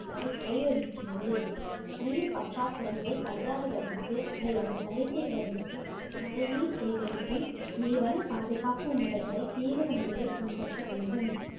வரு~ வழிவகுக்கிறது நீர் பற்றாக்குறையைக் கையாளுவதற்கு அல்லது சரி செய்வதற்கு மழை நீர் சேகரிப்பு நீர்வள பாதுகாப்பு முறைகளைத் தீவிர முறையில் பின்பற்ற வேண்டும்